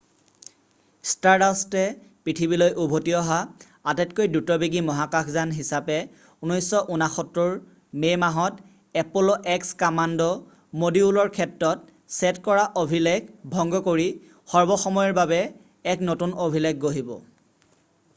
ষ্টাৰডাষ্টে পৃথিৱীলৈ উভতি অহা আটাইতকৈ দ্ৰুতবেগী মহাকাশযান হিচাপে 1969ৰ মে' মাহত এপল' এক্স কামাণ্ড মডিউলৰ ক্ষেত্ৰত ছেট কৰা অভিলেখ ভংগ কৰি সৰ্বসময়ৰ বাবে এক নতুন অভিলেখ গঢ়িব